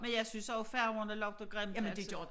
Men jeg synes også færgerne lugter grimt altså